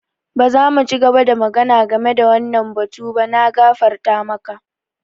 Ba za mu ci gaba da magana game da wannan batu ba. Na gafarta maka.